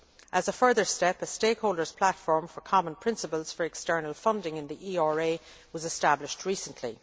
As a further step, a stakeholder's platform for common principles for external funding in the ERA was established recently.